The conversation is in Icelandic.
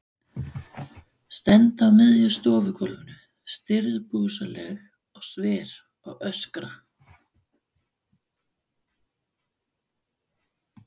Stend á miðju stofugólfinu, stirðbusaleg og sver, og öskra.